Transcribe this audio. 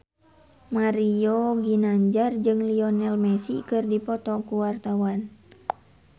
Mario Ginanjar jeung Lionel Messi keur dipoto ku wartawan